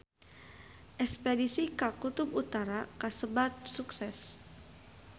Espedisi ka Kutub Utara kasebat sukses